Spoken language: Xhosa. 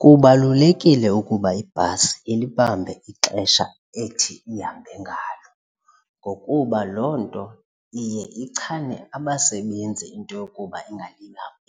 Kubalulekile ukuba ibhasi ilibambe ixesha ethi ihambe ngalo ngokuba loo nto iye ichane abasebenzi into yokuba